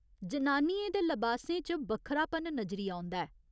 जनानियें दे लबासें च बक्खरापन नजरी औंदा ऐ।